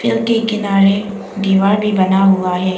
के किनारे दीवार भी बना हुआ है।